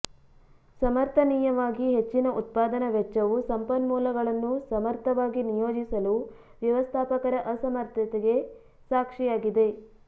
ಸಮರ್ಥನೀಯವಾಗಿ ಹೆಚ್ಚಿನ ಉತ್ಪಾದನಾ ವೆಚ್ಚವು ಸಂಪನ್ಮೂಲಗಳನ್ನು ಸಮರ್ಥವಾಗಿ ನಿಯೋಜಿಸಲು ವ್ಯವಸ್ಥಾಪಕರ ಅಸಮರ್ಥತೆಗೆ ಸಾಕ್ಷಿಯಾಗಿದೆ